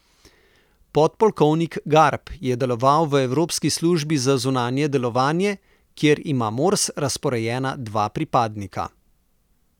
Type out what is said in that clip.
Podpolkovnik Garb je deloval v Evropski službi za zunanje delovanje, kjer ima Mors razporejena dva pripadnika.